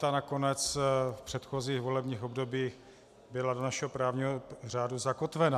Ta nakonec v předchozích volebních obdobích byla do našeho právního řádu zakotvena.